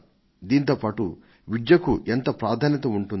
దీనితో పాటు విద్యకు ఎంత ప్రాధాన్యత ఉంటుందో